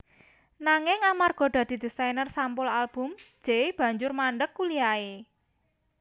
Nanging amarga dadi desainer sampul album Jay banjur mandeg kuliahe